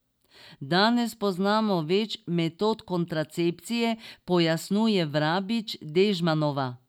Danes poznamo več metod kontracepcije, pojasnjuje Vrabič Dežmanova.